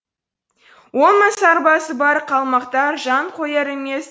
он мың сарбазы бар қалмақтар жан қояр емес